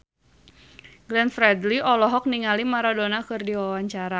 Glenn Fredly olohok ningali Maradona keur diwawancara